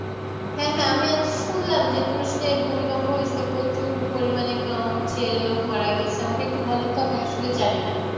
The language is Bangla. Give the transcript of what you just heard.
হ্যাঁ হ্যাঁ আমি আজ শুনলাম যে তুরস্কে ভুমিকম্প হয়েছে. প্রচুর পরিমাণে হচ্ছে লোক মারা গেছে আমাকে একটু বলেন তো আমি আসলে জানিনা.